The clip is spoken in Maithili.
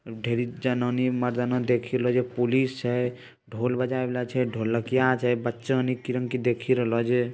ढेरीक जनानी मर्दाना देखी रहला छै पुलिस हेय ढोल बजावे वाला छै ढोलकइया छै बच्चा देखी रहल छै।